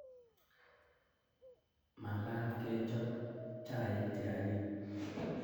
Makat kechop chaik che anyiny